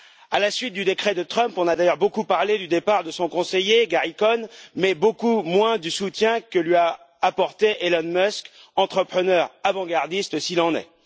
À la suite du décret de Trump, on a d'ailleurs beaucoup parlé du départ de son conseiller, Gary Cohn, mais beaucoup moins du soutien que lui a apporté Elon Musk, entrepreneur avant gardiste s'il en est.